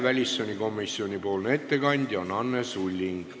Väliskomisjoni ettekandja on Anne Sulling.